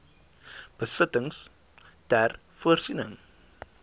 besittings ter voorsiening